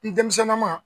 N denmisɛnninnaman